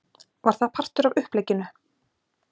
Var það partur af upplegginu?